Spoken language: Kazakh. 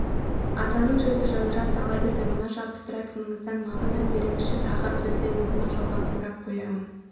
атаның жүзі жадырап сала берді мына жабыстыратыныңыздан маған да беріңізші тағы үзілсе өзім-ақ жалғап орап қояйын